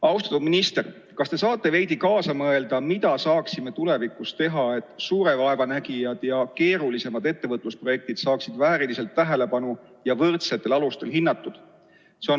Austatud minister, kas te saate veidi kaasa mõelda, mida saaksime tulevikus teha, et suure vaeva nägijad ja keerulisemad ettevõtlusprojektid saaksid vääriliselt tähelepanu ja võrdsetel alustel hinnatud?